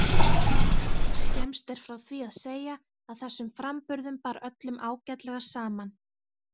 Skemmst er frá því að segja að þessum framburðum bar öllum ágætlega saman.